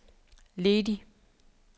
ledig